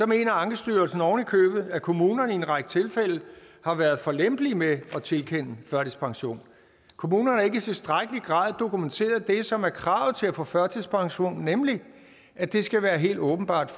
mener ankestyrelsen ovenikøbet at kommunerne i en række tilfælde har været for lempelige med at tilkende førtidspension kommunerne har ikke i tilstrækkelig grad dokumenteret det som er kravet til at få førtidspension nemlig at det skal være helt åbenbart